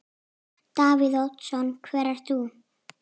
Davíð Oddsson: Hver ert þú?